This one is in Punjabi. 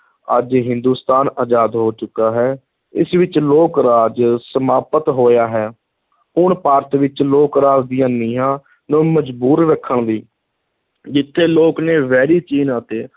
ਅੱਜ ਹਿੰਦੂਸਤਾਨ ਆਜ਼ਾਦ ਹੋ ਚੁੱਕਾ ਹੈ, ਇਸ ਵਿਚ ਲੋਕ-ਰਾਜ ਸਮਾਪਤ ਹੋਇਆ ਹੈ ਹੁਣ ਭਾਰਤ ਵਿਚ ਲੋਕ-ਰਾਜ ਦੀਆਂ ਨੀਂਹਾਂ ਨੂੰ ਮਜ਼ਬੂਤ ਰੱਖਣ ਲਈ, ਜਿੱਥੇ ਲੋਕ ਨੇ ਵੈਰੀ ਚੀਨ ਅਤੇ